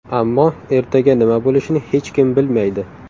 Ammo ertaga nima bo‘lishini hech kim bilmaydi”.